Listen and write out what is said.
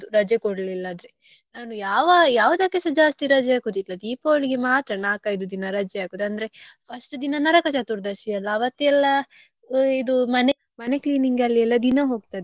ರಜೆ ಕೊಡ್ಲಿಲ್ಲದ್ರೆ ನಾನು ಯಾವ ಯಾವ್ದಕ್ಕುಸಾ ಜಾಸ್ತಿ ರಜೆ ಹಾಕುದಿಲ್ಲ Deepavali ಗೆ ಮಾತ್ರ ನಾಕ್ ಐದು ದಿನ ರಜೆ ಹಾಕುದ ಅಂದ್ರೆ first ದಿನ ನರಕಚತುರ್ದಶಿ ಅಲ್ಲ ಅವತ್ತು ಎಲ್ಲ ಇದು ಮನೆ cleaning ಅಲ್ಲಿ ದಿನ ಹೋಕ್ತದೆ.